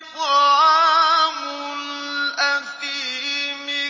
طَعَامُ الْأَثِيمِ